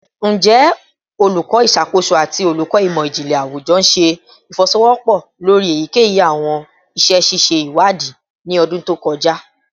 Njẹ Oluko Iṣakoso ati Oluko Imọ-jinlẹ Awujọ ṣe ifowosowopo lori eyikeyi awọn iṣẹ ṣiṣe iwadii ni ọdun to kọja?